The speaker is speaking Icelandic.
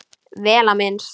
Vel á minnst.